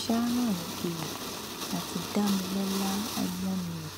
sharon egiri àti damilọla ọmọnìyí